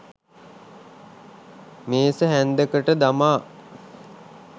මේස හැන්දකට දමා